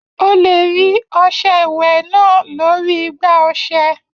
You can find the bathing soap on the soap dish